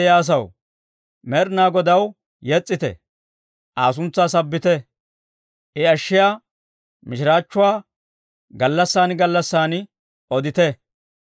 Med'inaa Godaw yes's'ite; Aa suntsaa sabbite; I ashshiyaa mishiraachchuwaa gallassaan gallassaan odite.